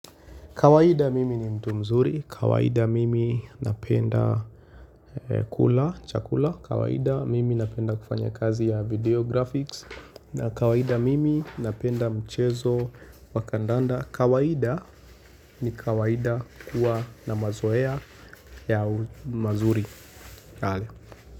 Kawaida mimi ni mtu mzuri, kawaida mimi napenda kula, chakula, kawaida mimi napenda kufanya kazi ya video graphics, na kawaida mimi napenda mchezo wakandanda, kawaida ni kawaida kuwa na mazoea ya mazuri.